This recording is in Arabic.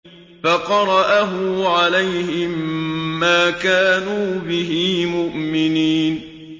فَقَرَأَهُ عَلَيْهِم مَّا كَانُوا بِهِ مُؤْمِنِينَ